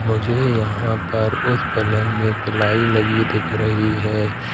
मुझे यहां पर उस पलंग में पिलाई लगी दिख रही है।